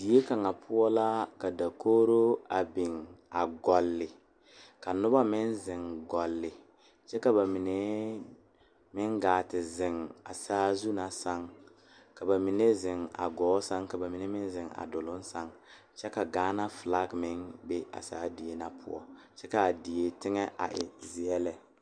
Kuu bogre la ka ba tuuro ka nba su kpare peɛle a de daga pilaa a eŋnɛ ka lɔ peɛle ayi a meŋ a biŋ ka dɔɔ a are a tuuro bogi.